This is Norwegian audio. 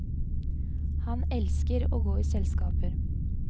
Han elsker å gå i selskaper.